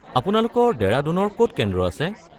আপোনালোকৰ ডেৰাডুনৰ ক'ত কেন্দ্ৰ আছে?